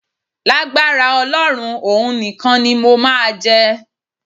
Lágbára Ọlọ́run, òun nìkan ni mo máa jẹ.